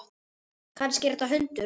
Kannski er þetta hundur?